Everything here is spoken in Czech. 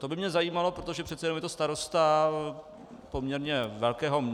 To by mě zajímalo, protože přece jenom je to starosta poměrně velkého...